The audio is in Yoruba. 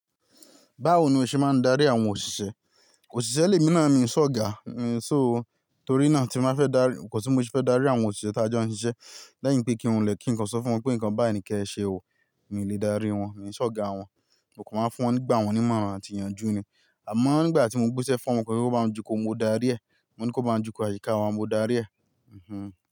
Báwo ni o ṣe máa ń darí àwọn òṣìṣẹ́? Òṣìṣẹ́ lè mi náà mi ò sọ̀gà, mi ò ṣòó. Torí náà tí mo fẹ́ darí, kò sí mo ti fẹ́ darí àwọn òṣìṣẹ́ tí a jó n ṣiṣẹ́. Lẹ́yìn pé kí n wọlé kí n sọ fún wọn pé nǹkan bayi ni kí ẹ ṣe ò ó, mi ò lè dárí wọn, mi ò n ṣọ̀gà wọn. Mo kò ma nfún won nígbà wọ́n ní mọ̀ran àti ìyanjú ni. Àmọ́ nígbà tí mo gbésẹ̀ fún wọn pé kí wọ́n máa jù kù mo darí ẹ̀. Mo ní ko máa jù ko àyíká wa mo darí ẹ̀. Mhmm.